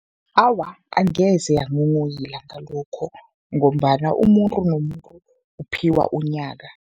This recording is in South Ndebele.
Awa, angeze yanghonghoyila ngalokho ngombana umuntu nomuntu uphiwa unyaka.